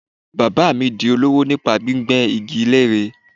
Bàbáà mi di olówò nípa gbígbẹ́ igi lére.